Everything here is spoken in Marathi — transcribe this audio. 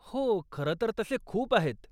हो, खरं तर तसे खूप आहेत.